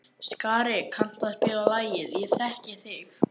Skari, kanntu að spila lagið „Ég þekki þig“?